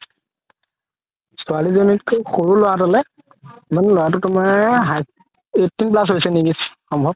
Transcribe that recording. ছোৱালি জনিতকে সৰু ল'ৰা জনে মানে ল'ৰা তুমাৰ হাই~ eighteen plus হৈছে নেকি সম্ভৱ